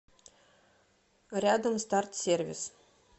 рядом старт сервис